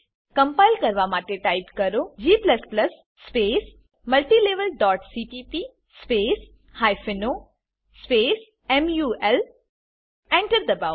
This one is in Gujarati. કમ્પાઈલ કરવા માટે ટાઈપ કરો g multilevelસીપીપી o મુલ Enter દબાવો